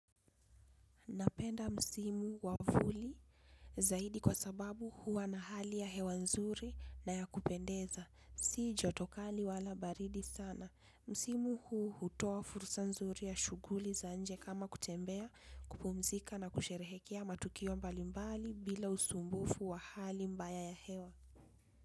Napenda msimu wavuli zaidi kwa sababu huwa na hali ya hewa nzuri na ya kupendeza. Sijotokali wala baridi sana. Msimu huu hutoa furusa nzuri ya shuguli zaa nje kama kutembea kupumzika na kusherehekia matukiwo mbali mbali bila usumbufu wa hali mbaya ya hewa.